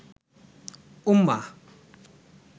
উম্মাহ